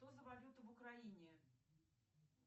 что за валюта в украине